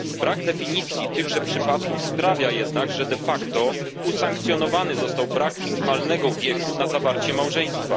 Brak definicji tychże przypadków sprawia jednak, że de facto usankcjonowany został brak minimalnego wieku na zawarcie małżeństwa.